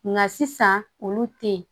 Nka sisan olu te yen